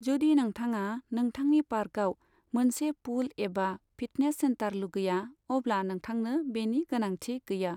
जुदि नोंथाङा नोंथांनि पार्कआव मोनसे पुल एबा फिटनेस सेन्टार लुगैया अब्ला नोंथांनो बेनि गोनांथि गैया।